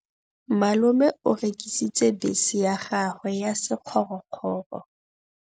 Malome o rekisitse bese ya gagwe ya sekgorokgoro.